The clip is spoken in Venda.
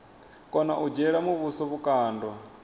kona u dzhiela muvhuso vhukando